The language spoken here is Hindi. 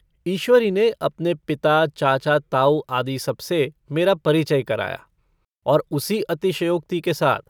ईश्वरी ने अपने पिता चाचा ताऊ आदि सबसे मेरा परिचय कराया और उसी अतिशयोक्ति के साथ।